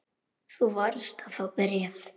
Þú varst að fá bréf.